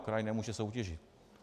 Kraj nemůže soutěžit.